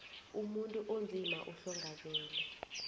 umuntu onzima uhlongakele